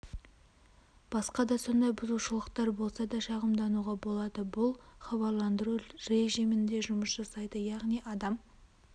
басқа да сондай бұзушылықтар болса да шағымдануға болады бұл хабарландыру режимінде жұмыс жасайды яғни адам